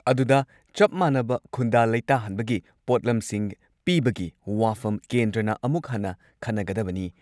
ꯑꯗꯨꯗ ꯆꯞ ꯃꯥꯟꯅꯕ ꯈꯨꯟꯗꯥ ꯂꯩꯇꯥꯍꯟꯕꯒꯤ ꯄꯣꯠꯂꯝꯁꯤꯡ ꯄꯤꯕꯒꯤ ꯋꯥꯐꯝ ꯀꯦꯟꯗ꯭ꯔꯅ ꯑꯃꯨꯛ ꯍꯟꯅ ꯈꯟꯅꯒꯗꯕꯅꯤ ꯫